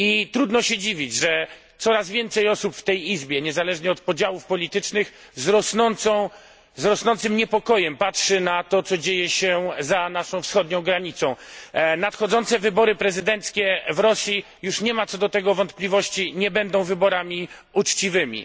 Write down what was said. Trudno się dziwić, że coraz więcej osób w tej Izbie, niezależnie od podziałów politycznych, z rosnącym niepokojem patrzy na to, co dzieje się za naszą wschodnią granicą. Nadchodzące wybory prezydenckie w Rosji nie ma już co do tego wątpliwości nie będą wyborami uczciwymi.